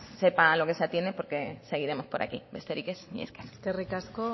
sepa a lo que se atiende porque seguiremos por aquí besterik ez mila esker eskerrik asko